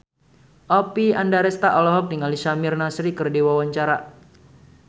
Oppie Andaresta olohok ningali Samir Nasri keur diwawancara